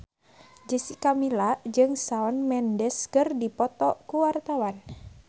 Jessica Milla jeung Shawn Mendes keur dipoto ku wartawan